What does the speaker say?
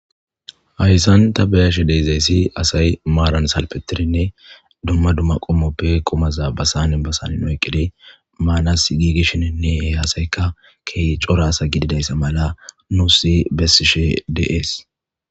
hayssan ta beyashshe de'izayssi asay maaran salfetirinne dumma dumma qomoppe qumaza ba sanen ba sanen oyqqid maanas giigishininne he assaykka ke'i corra assa gididayssa mala nuusi besiishshe de'ees